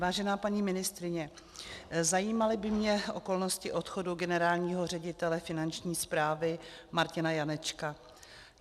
Vážená paní ministryně, zajímaly by mě okolnosti odchodu generálního ředitele Finanční správy Martina Janečka.